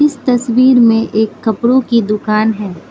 इस तस्वीर में एक कपरों की दूकान है।